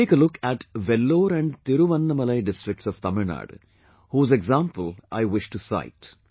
Take a look at Vellore and Thiruvannamalai districts of Tamilnadu, whose example I wish to cite